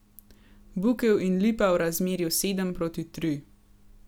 Bukev in lipa v razmerju sedem proti tri.